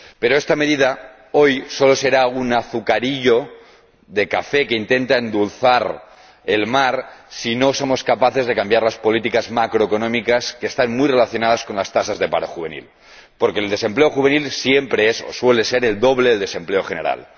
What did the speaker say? Pero esta medida, hoy, solo será un azucarillo de café que intenta endulzar el mar si no somos capaces de cambiar las políticas macroeconómicas, que están muy relacionadas con las tasas de paro juvenil, porque el desempleo juvenil siempre es o suele ser el doble del desempleo general.